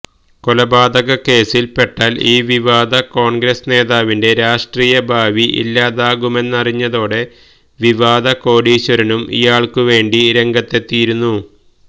കൊലപാതക കേസില് പെട്ടാല് ഈ വിവാദ കോണ്ഗ്രസ് നേതാവിന്റെ രാഷ്ട്രീയ ഭാവി ഇല്ലാതാകുമെന്നറിഞ്ഞതോടെ വിവാദ കോടിശ്വരനും ഇയാള്ക്കുവേണ്ടി രംഗത്തെത്തിയിരുന്നു